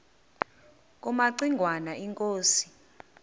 kumaci ngwana inkosi